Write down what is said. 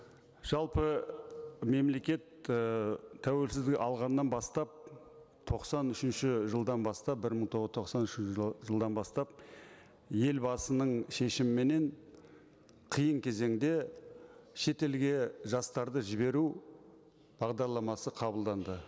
жалпы мемлекет ііі тәуелсіздік алғаннан бастап тоқсан үшінші жылдан бастап бір мың тоқсан үшінші жылдан бастап елбасының шешіміменен қиын кезеңде шетелге жастарды жіберу бағдарламасы қабылданды